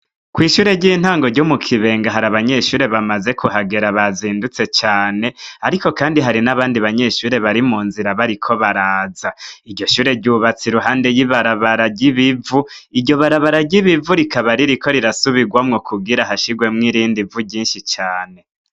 Kw'ishure ry'intango ryo mu Kibenga hari abanyeshure bamaze kuhagera bazindutse cane ariko kandi hari n'abandi banyeshure bari mu nzira bariko baraza. Iryo shure ryubatse iruhande y'ibarabara ry'ibivu. Iryo barabara ry'ibivu rikaba ririko rirasubirwamwo kugira hashirwemwo irindi vu ryinshi cane.